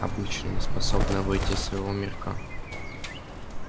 обычные неспособные выйти из своего мирка